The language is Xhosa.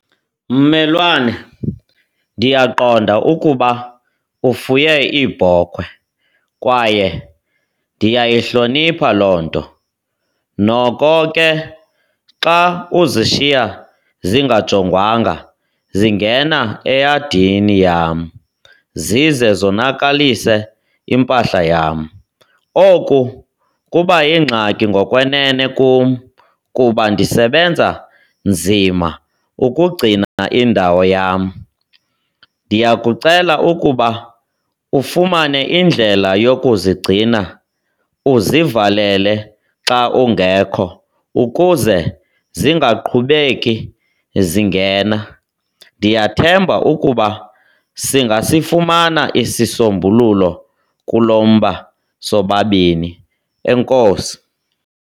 Mmelwane, ndiyaqonda ukuba ufuye iibhokhwe kwaye ndiyayihlonipha loo nto. Noko ke xa uzishiya zingajongwanga zingena eyadini yam zize zinokalise impahla yam. Oku kuba yingxaki ngokwenene kum kuba ndisebenza nzima ukugcina indawo yam. Ndiyakucela ukuba ufumane indlela yokuzigcina uzivalele xa ungekho ukuze zingaqhubeki zingena. Ndiyathemba ukuba singasifumana isisombululo kulo mba sobabini. Enkosi.